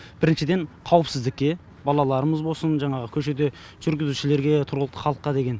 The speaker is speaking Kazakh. біріншіден қауіпсіздікке балаларымыз болсын жаңағы көшеде жүргізушілерге тұрғылықты халыққа деген